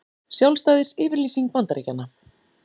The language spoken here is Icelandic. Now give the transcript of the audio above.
Sjálfstæðisyfirlýsing Bandaríkjanna.